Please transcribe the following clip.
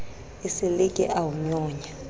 esele ke a o nyonya